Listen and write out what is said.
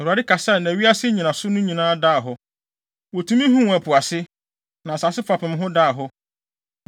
Awurade kasae, na wiase nnyinaso no nyinaa daa hɔ. Wotumi huu ɛpo ase, na asase fapem ho daa hɔ.